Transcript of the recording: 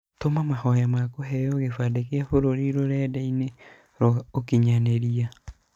Tũma mahoya makũheo kĩbandĩ gia bũrũri rũrenda-inĩ rwa ũkinyanĩria.